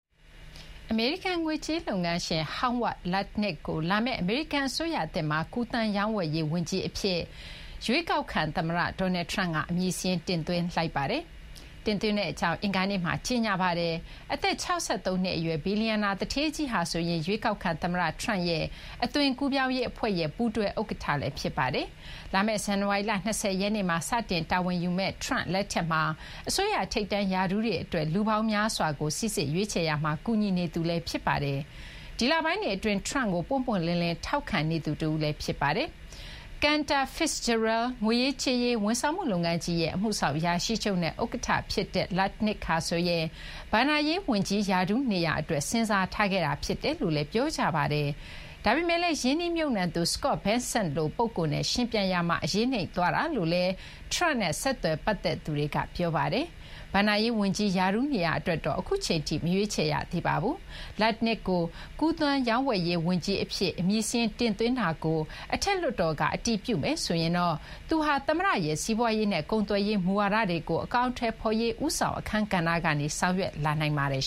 အမေရိကန် ငွေကြေး လုပ်ငန်းရှင် Howard Lutnick ကို လာမယ့် အမေရိကန် အစိုးရသစ်မှာ ကူးသန်းရောင်းဝယ်ရေး ဝန်ကြီး အဖြစ် အမည်စာရင်း တင်သွင်းဖို့ ပြင်ဆင်ထားကြောင်း ရွေးကောက်ခံ သမ္မတ Donald Trump က အင်္ဂါနေ့မှာ ကြေညာပါတယ်။ အသက် ၆၃ နှစ် အရွယ် ဘီလျံနာ သူဌေးကြီးဟာ ရွေးကောက်ခံ သမ္မတ Trump ရဲ့ အသွင်ကူးပြောင်းရေး အဖွဲ့ရဲ့ ပူးတွဲ ဥက္ကဋ္ဌလည်း ဖြစ်ပါတယ်။ လာမယ့် ဇန်နဝါရီလ ၂၀ ရက်နေ့မှာ စတင် တာဝန်ယူမယ့် Trump လက်ထက်မှာ အစိုးရ ထိပ်တန်း ရာထူးတွေ အတွက် လူပေါင်းများစွာကို စိစစ် ရွေးချယ်ရာမှာ ကူညီနေသူလည်း ဖြစ်ပါတယ်။ ဒီလပိုင်းတွေ အတွင်း Trump ကို ပွင့်ပွင့်လင်းလင်း ထောက်ခံနေသူ တဦးလည်း ဖြစ်ပါတယ်။ Cantor Fitzgerald ငွေရေးကြေးရေး ဝန်ဆောင်မှု လုပ်ငန်းကြီးရဲ့ အမှုဆောင် အရာရှိချုပ်နဲ့ ဥက္ကဋ္ဌ ဖြစ်တဲ့ Lutnick ဟာဆိုရင် ဘဏ္ဍာရေး ဝန်ကြီး ရာထူး နေရာ အတွက် စဉ်းစားထားခဲ့ရတာ ဖြစ်တယ်လို့လည်း ပြောကြပါတယ်။ ဒါပေမဲ့လည်း ရင်းနှီးမြှုပ်နှံသူ Scott Bessent လို ပုဂ္ဂိုလ်နဲ့ ယှဉ်ပြိုင်ရာမှာ အရေးနိမ့်သွားတာလို့လည်း Trump နဲ့ ဆက်နွယ်ပတ်သက်သူတွေက ပြောကြပါတယ်။ ဘဏ္ဍာရေး ဝန်ကြီး ရာထူး နေရာ အတွက်တော့ အခုအချိန်ထိ မရွေးချယ်ရသေးပါဘူး။ Lutnick ကို ကူးသန်းရောင်းဝယ်ရေး ဝန်ကြီး အဖြစ် အမည်တင်သွင်းလာပြီး အထက်လွှတ်တော်ကလည်း အတည်ပြုမယ်ဆိုရင်တော့ သူဟာ သမ္မတရဲ့ စီးပွားရေးနဲ့ ကုန်သွယ်ရေး မူဝါဒတွေကို အကောင်အထည်ဖော်ရေး ဦးဆောင် အခန်းကဏ္ဍကနေ ဆောင်ရွက်လာနိုင်ပါတယ်